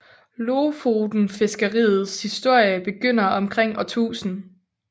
Lofotenfiskeriets historie begynder omkring år 1000